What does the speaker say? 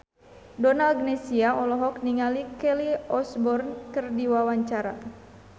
Donna Agnesia olohok ningali Kelly Osbourne keur diwawancara